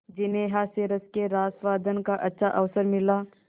जिन्हें हास्यरस के रसास्वादन का अच्छा अवसर मिला